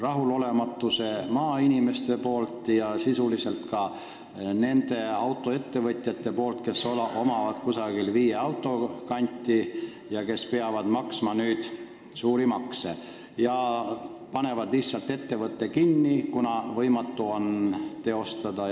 Annan edasi maainimeste rahulolematuse ja sisuliselt nende autoettevõtjate rahulolematuse, kellel on viie auto kanti ja kes peavad nüüd suuri makse maksma ning panevad lihtsalt ettevõtte kinni, kuna on võimatu edasi tegutseda.